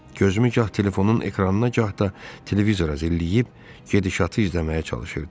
Gözümü gah telefonun ekranına, gah da televizora zilləyib gedişatı izləməyə çalışırdım.